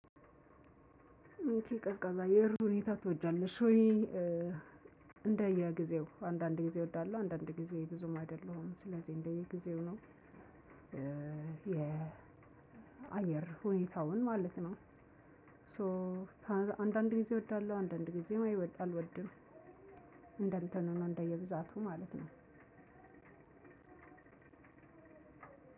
ቀዝቃዛ የአየር ሁኔታ ትወጃለሽ ወይ? እንደየ ጊዜው አንዳንድ ጊዜ እወዳለሁ አንዳንድ ጊዜ ብዙም አይደለሁም። ስለዚህ እንደየ ጊዜው ነው የአየር ሁኔታውን ማለት ነው። ሶ አንዳንድ ጊዜ እወዳለሁ አንዳንድ ጊዜ አልወድም። እንደ እንትኑ ሆኖ እንደየብዛቱ ማለት ነው።